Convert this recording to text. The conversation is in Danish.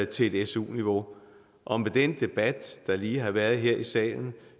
til et su niveau og med den debat der lige har været her i salen